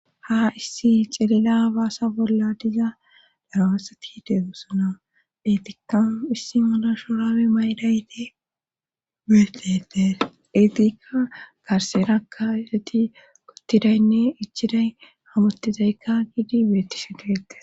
Ha issi xilila baasa bolla diza daraasati deegusona etikkau issi mala shorawe maydayde beetetes eetikka garserakka ereti kottidaynne ichiday hamottizaykka giidi beetti sheketes